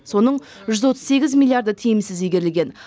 соның жүз отыз сегіз миллиарды тиімсіз игерілген